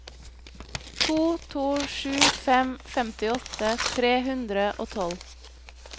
to to sju fem femtiåtte tre hundre og tolv